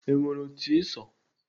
E nwere otu Ị so?